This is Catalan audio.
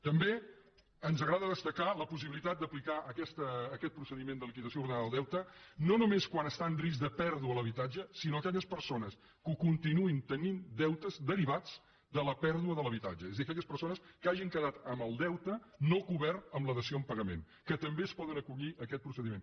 també ens agrada destacar la possibilitat d’aplicar aquest procediment de liquidació ordenada del deute no només quan està en risc de pèrdua l’habitatge sinó per a aquelles persones que continuïn tenint deutes derivats de la pèrdua de l’habitatge és a dir aquelles persones que hagin quedat amb el deute no cobert amb la dació en pagament que també es poden acollir a aquest procediment